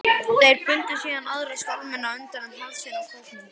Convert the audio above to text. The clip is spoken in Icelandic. Þeir bundu síðan aðra skálmina utan um hálsinn á kópnum.